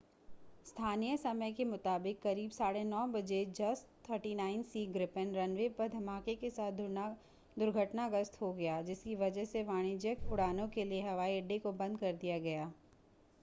स्थानीय समय 0230 utc के मुताबिक करीब 9:30 बजे jas 39c gripen रनवे पर धमाके के साथ दुर्घटनाग्रस्त हो गया जिसकी वजह से वाणिज्यिक उड़ानों के लिए हवाई अड्डे को बंद कर दिया गया